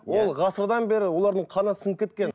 ол ғасырдан бері олардың қанына сіңіп кеткен